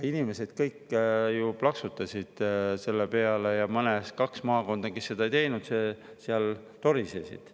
Inimesed kõik plaksutasid selle peale ja kahes maakonnas, kus seda ei tehtud, torisesid.